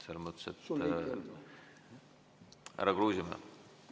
Härra Kruusimäe!